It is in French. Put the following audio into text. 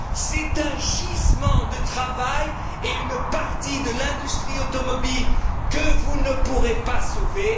C'est un gisement de travail et une partie de l'industrie automobile que vous ne pourrez pas sauver.